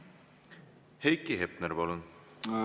Heiki Hepner, palun!